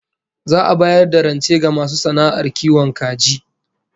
Za'a bayar da rance ga masu sana'ar kiwon kaji